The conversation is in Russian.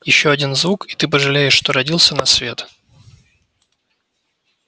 ещё один звук и ты пожалеешь что родился на свет